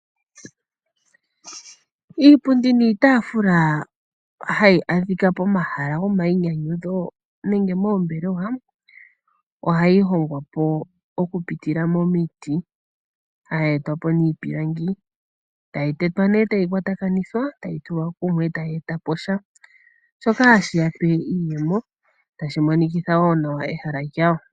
Iipundi niitaafula hayi adhika pomahala gomainyanyudho nenge moombelewa ohayi hongwa momiti. Ohayi etwa po niipilangi tayi tetwa e tayi kwatakanithwa tayi tulwa kumwe e tayi eta po sha. Shoka hashi ya pe iiyemo tashi monikitha wo nawa ehala lyawo.